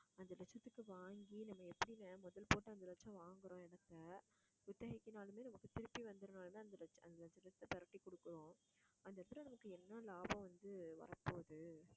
அஞ்சு லட்சத்துக்கு வாங்கி, நம்ம எப்படிங்க முதல் போட்டு, அஞ்சு லட்சம் வாங்குறோம் இடத்தை குத்தகைக்குனாலுமே நமக்கு திருப்பி வந்துரணும்னு பிரட்டி கொடுக்கிறோம். அந்த இடத்துல நமக்கு என்ன லாபம் வந்து வரப்போகுது